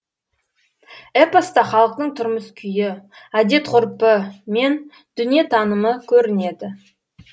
эпоста халықтың тұрмыс күйі әдет ғұрпы мен дүниетанымы көрінеді